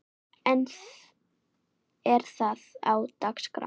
En er það á dagskrá?